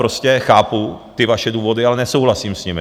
Prostě chápu ty vaše důvody, ale nesouhlasím s nimi.